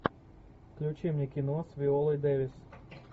включи мне кино с виолой дэвис